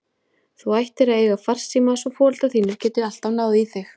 Þú ættir að eiga farsíma svo foreldrar þínir geti alltaf náð í þig.